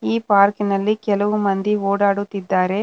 ಈ ಪಾರ್ಕ್ ಇನಲ್ಲಿ ಕೆಲವು ಮಂದಿ ಓಡಾಡುತ್ತಿದ್ದಾರೆ.